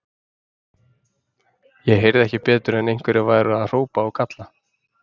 Ég heyrði ekki betur en einhverjir væru að hrópa og kalla.